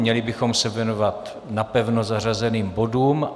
Měli bychom se věnovat napevno zařazeným bodům.